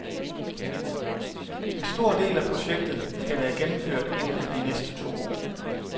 En stor del af projektet skal være gennemført inden for de næste to år.